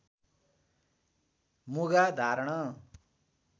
मुगा धारण